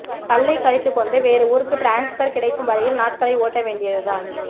பல்லைக் கடித்துக்கொண்டு வேறு ஊருக்கு ட்ரான்ஸ்பர் கிடைக்கும் வரையில் நாட்களை ஓட்ட வேண்டியதுதான்